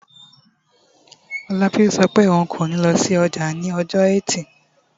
Olabisi sọ pé òun kò ní lọ sí ọjà ní ọjọ́ ẹtì